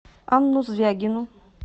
анну звягину